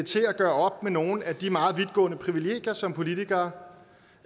til at gøre op med nogle af de meget vidtgående privilegier som politikere